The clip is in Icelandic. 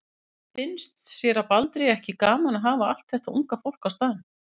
En finnst séra Baldri ekki gaman að hafa allt þetta unga fólk á staðnum?